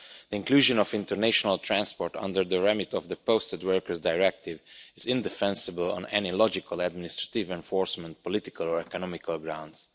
The inclusion of international transport under the remit of the Posted Workers Directive is indefensible on any logical, administrative, enforcement, political or economic grounds.